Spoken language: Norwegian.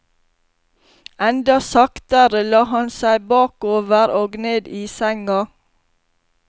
Enda saktere la han seg bakover og ned i senga.